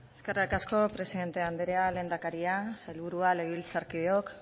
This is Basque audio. eskerrik asko presidente anderea lehendakaria sailburua legebiltzarkideok